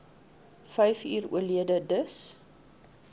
vyfuur oorlede dis